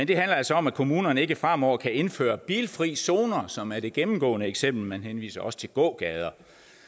det altså om at kommunerne ikke fremover kan indføre bilfrie zoner som er det gennemgående eksempel man henviser også til gågader